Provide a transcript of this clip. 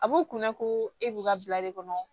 A b'u kunna ko e b'u ka bila de kɔnɔ